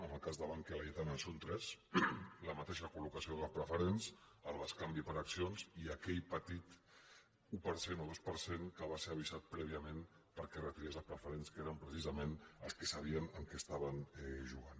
en el cas de bankia·laietana són tres la mateixa col·locació de les preferents el bescanvi per accions i aquell petit un per cent o dos per cent que va ser avisat prèviament perquè retirés les preferents que eren pre·cisament els que sabien amb què estaven jugant